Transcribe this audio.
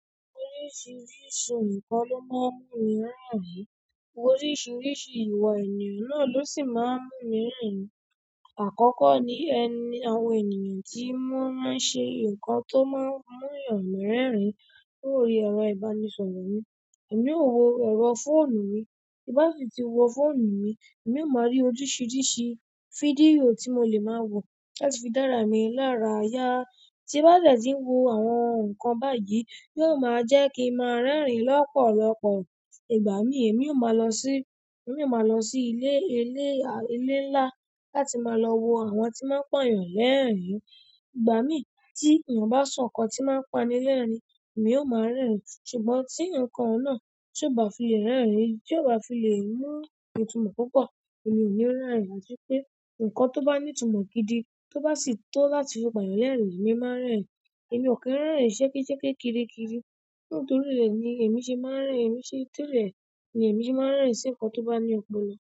Orísìírísìí nǹkan ló máa ń mú mi rẹ́rìn, orísìírísìí ìwà ènìyàn náà ló sì máa ń mú mi rẹ́rìn. Àkọ́kọ́ ni, àwọn ènìyàn tí wọ́n máa ń ṣe nǹkan tó máa ń mú èèyàn rẹ́rìn. Lórí ẹ̀rọ ìbánisọ̀rọ̀ mi, èmi ó wo ẹ̀rọ fóònù mi, tí bá ti wo fóònù mi, èmi ó máa rí oríṣiríṣi fídíò tí mo lè máa wo láti fi dára mi lára yá. Tí n bá dẹ̀ tí ń wo àwọn nǹkan báyìí, yóò máa jẹ́ kí n máa rẹ́rìn lọ́pọ̀lọpọ̀. Ìgbàmi èmi ó máa lọ sí, èmi ó máa lọ sí ilé, ilé ńlá láti máa lọ wo àwọn tí maa n pa èèyàn lẹ́rìn. Igbami ti eeyan ba so nkan ti n ma pani lerin, emi o maa rerin. Ṣùgbọ́n tí nǹkan oun náà tiò bá fi lè rẹ́rìn, tí ó bá fi lè mú ni itúmọ̀ púpọ̀, èmi ò ní rẹ́rìn. Àti pé nǹkan tó bá ní ìtumọ̀ gidi, tó bá sì ti fi pa èeyàn lẹ́rìn, èmi máa ń rẹ́rìn. Èmi ò kí ń rẹ́rìn ṣẹ́keṣẹ́ke kiri kiri, nítorí rẹ̀ ni èmi ṣe máa ń rẹ́rìn. Ẹ̀mi o yi ṣeni to de ni èmi ṣe máa ń rẹ́rìn. Ṣé nkan tó bá ní òpòlo.